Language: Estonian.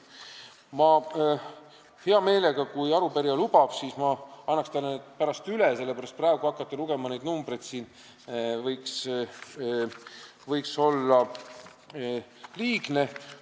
" Ma hea meelega, kui arupärija lubab, annan need talle pärast üle, hakata praegu neid numbreid siin ette lugema võiks olla liigne.